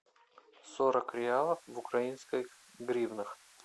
сорок реалов в украинских гривнах